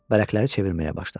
Vərəqləri çevirməyə başladı.